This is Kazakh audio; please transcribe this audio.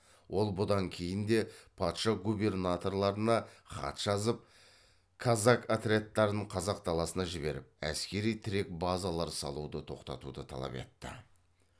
ол бұдан кейін де патша губернаторларына хат жазып казак отрядтарын қазақ даласына жіберіп әскери тірек базалар салуды тоқтатуды талап етті